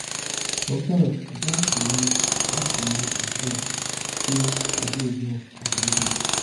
sometimes i gats remind gats remind myself say i dey enough as i be